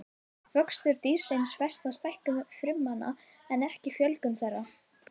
vöxtur dýrsins felst í stækkun frumnanna en ekki fjölgun þeirra